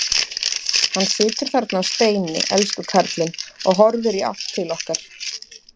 Hann situr þarna á steini, elsku kallinn, og horfir í átt til okkar.